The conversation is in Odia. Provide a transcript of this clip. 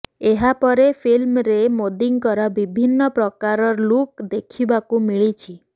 ଏହା ପରେ ଫିଲ୍ମରେ ମୋଦିଙ୍କର ବିଭିନ୍ନ ପ୍ରକାର ଲୁକ୍ ଦେଖିବାକୁ ମିଳିଛି